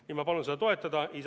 Nii et ma palun seda toetada!